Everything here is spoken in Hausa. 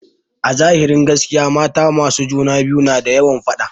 Azahirin gaskiya mata masu juna biyu na da yawan faɗa.